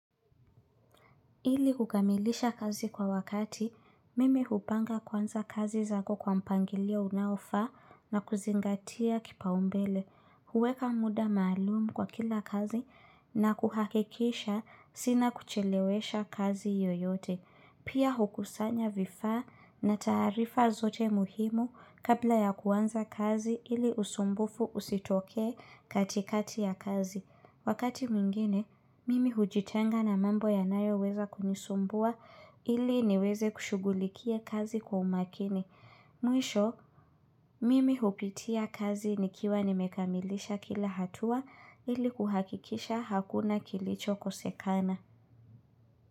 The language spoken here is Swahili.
Ili kukamilisha kazi kwa wakati, mimi hupanga kwanza kazi zako kwa mpangilio unaofaa na kuzingatia kipaumbele. Huweka muda maalumu kwa kila kazi na kuhakikisha sina kuchelewesha kazi yoyote. Pia hukusanya vifaa na taarifa zote muhimu kabla ya kuanza kazi ili usumbufu usitokee katikati ya kazi. Wakati mwingine, mimi hujitenga na mambo ya nayo weza kunisumbua ili niweze kushugulikia kazi kwa umakini. Mwisho, mimi hupitia kazi nikiwa nimekamilisha kila hatua ili kuhakikisha hakuna kilicho kosekana.